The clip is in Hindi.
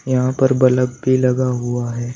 यहां पर बल्ब भी लगा हुआ है।